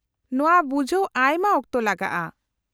-ᱱᱚᱶᱟ ᱵᱩᱡᱷᱟᱹᱣ ᱟᱭᱢᱟ ᱚᱠᱛᱚ ᱞᱟᱜᱟᱜᱼᱟ ᱾